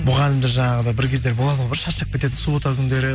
мұғалімдер жаңағындай бір кездері болады ғой бір шаршап кететін суббота күндері